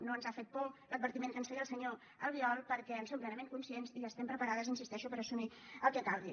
no ens ha fet por l’advertiment que ens feia el senyor albiol perquè en som plenament conscients i estem preparades hi insisteixo per assumir el que calgui